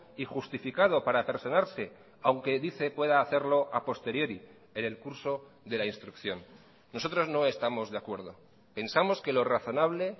y justificado para personarse aunque dice pueda hacerlo a posteriori en el curso de la instrucción nosotros no estamos de acuerdo pensamos que lo razonable